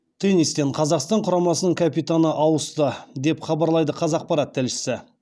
теннистен қазақстан құрамасының капитаны ауысты деп хабарлайды қазақпарат тілшісі